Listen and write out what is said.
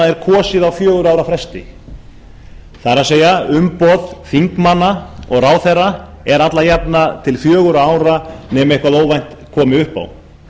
er kosið á fjögurra ára fresti það er umboð þingmanna og ráðherra er alla jafnan til fjögurra ára nema eitthvað óvænt komi upp